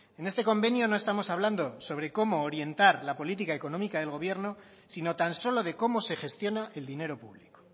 en este convenio no estamos hablando sobre cómo orientar la política económica del gobierno sino tan solo de cómo se gestiona el dinero público